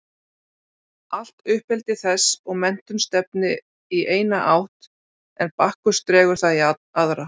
Allt uppeldi þess og menntun stefnir í eina átt en Bakkus dregur það í aðra.